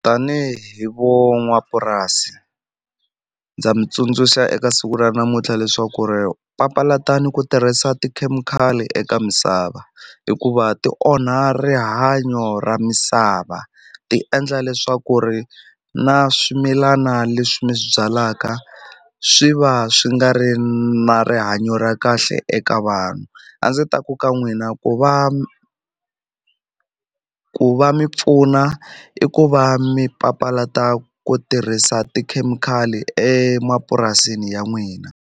Tanihi vo n'wapurasi ndza mi tsundzuxa eka siku ra namuntlha leswaku ri papalatani ku tirhisa tikhemikhali eka misava hikuva ti onha rihanyo ra misava ti endla leswaku ri na swimilana leswi mi swi byalaka swi va swi nga ri na rihanyo ra kahle eka vanhu a ndzi ta ku ka n'wina ku va ku va mi pfuna i ku va mi papalata ku tirhisa tikhemikhali emapurasini ya n'wina.